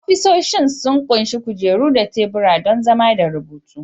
Ofisoshin sun ƙunshi kujeru da tebura don zama da rubutu